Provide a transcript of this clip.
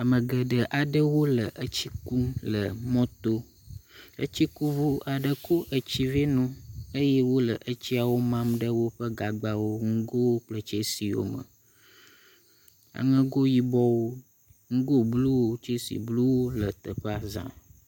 ame geɖe aɖewo le tsi kum le mɔto etsikuʋu aɖe kó etsi vɛnoo eye wóle etsiawo mam ɖe wóƒe gagbawo ŋugowo kple tsɛsiwo me aŋego yibɔwo ŋugó bluwo tsɛsi bluwo le teƒea zã